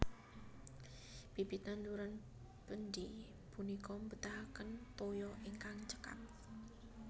Bibit tanduran bendi punika mbetahaken toya ingkang cekap